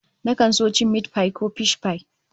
Nakan so cin mitipai ko fishpai